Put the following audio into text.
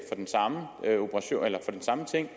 for den samme ting